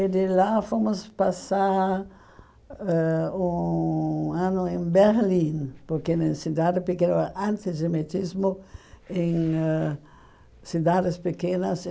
E de lá fomos passar ãh um ano em Berlim, porque né em cidade pequena, antes de metismo, em ãh cidades pequenas.